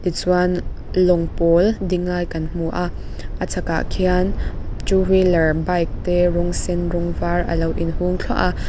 chuan lawng pawl ding lai kan hmu a a chhak ah khian two wheeler bike te rawng sen var a lo in hung thluah a.